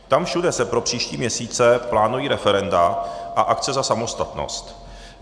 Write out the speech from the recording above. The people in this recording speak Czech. Tam všude se pro příští měsíce plánují referenda a akce za samostatnost.